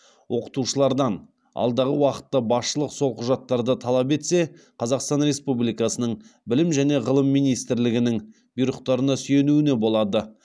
оқытушылардан алдағы уақытта басшылық сол құжаттарды талап етсе қазақстан республикасының білім және ғылым министрлігінің бұйрықтарына сүйенуіне болады